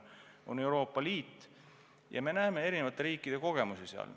Tuleb Euroopa Liidust, kus eri riikidel on erinevad kogemused.